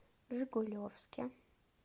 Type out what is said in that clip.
жигулевске